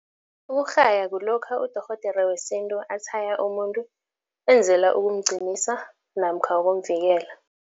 Ukurhaya kulokha udorhodere wesintu atshaya umuntu, enzela ukumqinisa namkha ukumvikela.